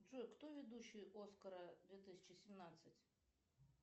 джой кто ведущий оскара две тысячи семнадцать